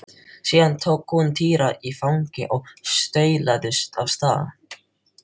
Síðan tók hún Týra í fangið og staulaðist af stað.